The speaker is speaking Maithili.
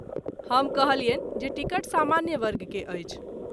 हम कहलियनि जे टिकट सामान्य वर्ग के अछि।